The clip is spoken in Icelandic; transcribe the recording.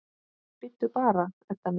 Bíddu bara, Edda mín.